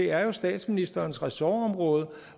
er statsministerens ressortområde